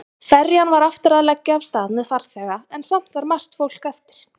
Ferjan var aftur að leggja af stað með farþega en samt var margt fólk eftir.